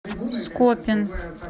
скопин